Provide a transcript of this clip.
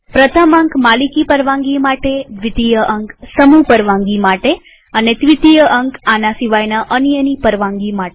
પ્રથમ અંક માલિકી પરવાનગી માટેદ્વિતીય અંક સમૂહ પરવાનગી માટે અને ત્વીતીય અંક આના સિવાયના અન્યની પરવાનગી માટે